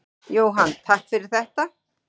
Jóhann: Takk fyrir þetta.